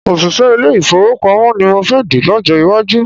Òṣìṣẹ́ ilé-ìfowópamọ́ ni mo fẹ́ dì lọ́jọ́ iwájú